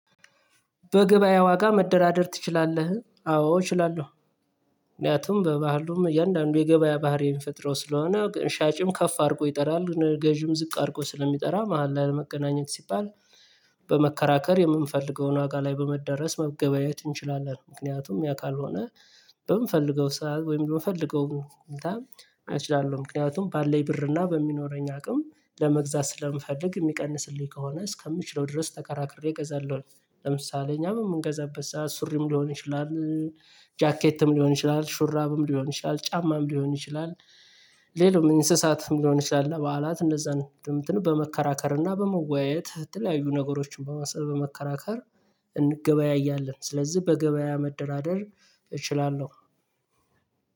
በገበያ ዋጋ መደራደር ትችላለህ? አዎ እችላለሁ። ምክንያቱም በባህሉም እያንዳንዱ የገበያ ባህሪዬን ፈጥረው ስለሆነ ግን ሻጭም ከፍ አድርጎ ይጠራሉ ገዢም ዝቅ አድርጎ ስለሚጠራ መሃል ላለመቀናኘት ሲባል። በመከራከር የምንፈልገውን ዋጋ ላይ በመዳረስ መገበያየት እንችላለን። ምክንያቱም ያ ካልሆነ። በምንፈልገው ስራ ወይም በምንፈልገው አይችልም። ምክንያቱም ባለን ብር እና በሚኖረኝ አቅም ለመግዛት ስለምፈልግ የሚቀንስልኝ ከሆነ እስከምችለው ድረስ ተከራክሬ እገዛለሁኝ። ለምሳሌ እኛም የምንገዛበት ሰዓት ሱሪም ሊሆን ይችላል። ጃኬትም ሊሆን ይችላል ሹራብም ሊሆን ይችላል ጫማም ሊሆን ይችላል። ሌላው እንስሳትም ሊሆን ይችላል እና በዓላት እንደዛ ነው ድምጽን በመከራከር እና በመወያየት የምትለያዩ ነገሮችን በማሰር በመከራከር። እንገበያያለን ስለዚህ በገበያ መደራደር እችላለሁ።